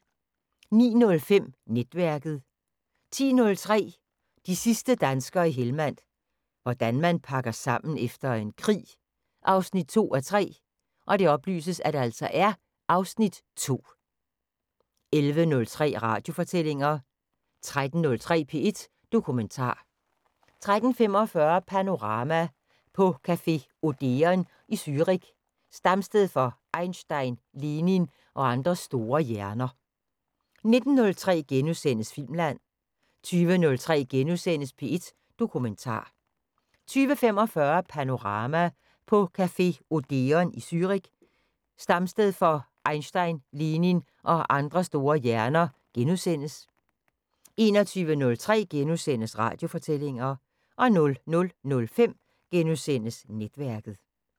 09:05: Netværket 10:03: De sidste danskere i Helmand – hvordan man pakker sammen efter en krig 2:3 (Afs. 2) 11:03: Radiofortællinger 13:03: P1 Dokumentar 13:45: Panorama: På café Odeon i Zürich, stamsted for Einstein, Lenin og andre store hjerner 19:03: Filmland * 20:03: P1 Dokumentar * 20:45: Panorama: På café Odeon i Zürich, stamsted for Einstein, Lenin og andre store hjerner * 21:03: Radiofortællinger * 00:05: Netværket *